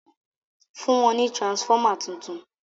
fún wón ní transformer títún